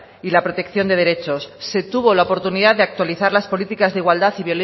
y la protección de derechos se tuvo la oportunidades actualizar las políticas de igualdad